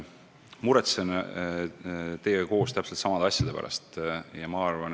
Ma muretsen teiega koos täpselt samade asjade pärast.